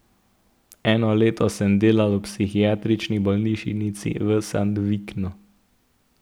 Eno leto sem delal v psihiatrični bolnišnici v Sandviknu.